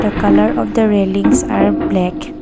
the colour of the railings are black.